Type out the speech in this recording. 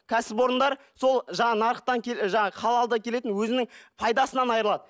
кәсіпорындар сол жаңа нарықтан жаңағы халалдан келетін өзінің пайдасынан айрылады